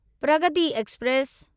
Pragati express